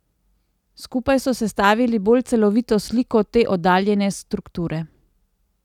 Skupaj so sestavili bolj celovito sliko te oddaljene strukture.